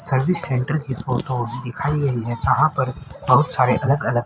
service centre की photo दिखाई गयी हैं जहाँ पर बहुत सारे अलग अलग--